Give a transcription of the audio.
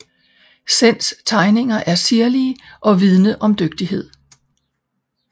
Senns tegninger er sirlige og vidne om dygtighed